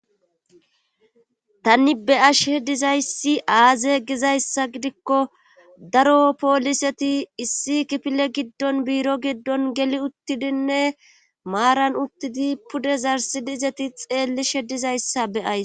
Tanni be ash she dizayssi aaze gizayssa gidikko daro pooliseti issi kipile giddon biiro giddon geli uttidinne maaran uttidi pude zarsidiizeti xeelli shedizayssa beyays.